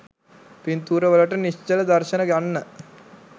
පින්තුරවලට නිශ්චල දර්ශන ගන්න.